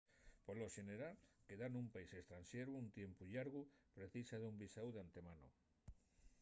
polo xeneral quedar nun país estranxeru un tiempu llargu precisa d’un visáu d’antemano